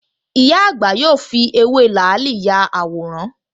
Ìyá àgbà yóò fi ewé làálì ya àwòrán